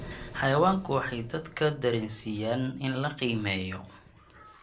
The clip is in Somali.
Xayawaanku waxay dadka dareensiiyaan in la qiimeeyo.